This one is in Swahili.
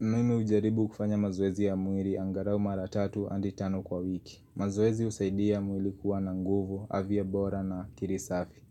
Mimi ujaribu kufanya mazwezi ya muiri angarao mara tatu handi tano kwa wiki. Mazoezi usaidia muiri kuwa na nguvu, afya bora na akili safi.